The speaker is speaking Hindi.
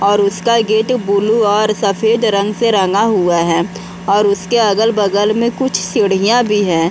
और उसका गेट ब्लू और सफेद रंग से रंगा हुआ है और उसके अगल-बगल में कुछ सीढ़िया भी हैं।